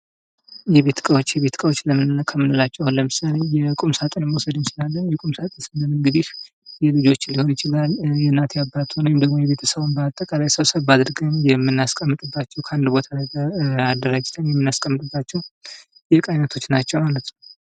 የቤት እቃዎች የቤት እቃዋች ከምንላችሁ አሁን ለምሳሌ የቁም ሳጥንን መውሰድ እንችላለን ቁምሳጥን ስንል እንግዲህ የልጆች ሊሆን ይችላል የእናቴ አባት ወይም ደግሞ የቤተሰብ በጠቃላይ ሰብሰብ አድርገን የምናስቀመጥባቸው ከአንድ ቦታ ላይ አደራጅተን የምናስቀምጥባቸው የዕቃ አይነቶች ናቸው ማለት ነው።